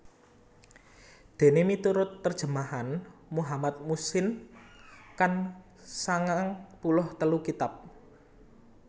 Déné miturut terjemahan Muhammad Muhsin Khan sangang puluh telu kitab